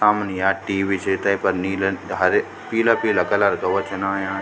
सामणी या टी.वी. च तैफर नीला हरे पीला पीला कलर का वो छन आयाँ।